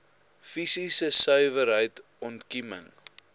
fisiese suiwerheid ontkieming